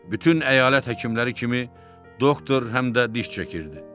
Bütün əyalət həkimləri kimi, doktor həm də diş çəkirdi.